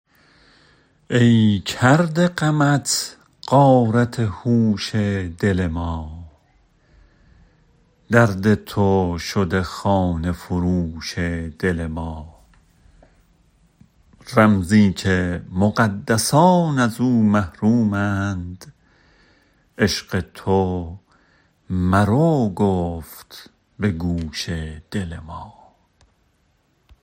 ای کرده غمت غارت هوش دل ما درد تو شده خانه فروش دل ما رمزی که مقدسان ازو محرومند عشق تو مر او گفت به گوش دل ما